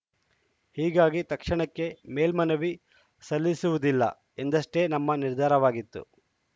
ಹೀಗಾಗಿ ತಕ್ಷಣಕ್ಕೆ ಮೇಲ್ಮನವಿ ಸಲ್ಲಿಸುವುದಿಲ್ಲ ಎಂದಷ್ಟೇ ನಮ್ಮ ನಿರ್ಧಾರವಾಗಿತ್ತು